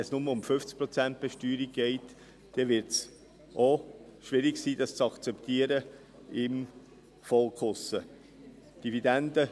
Wenn es nur um die 50-Prozent-Besteuerung geht, dann wird es auch schwierig sein, das draussen im Volk zu akzeptieren.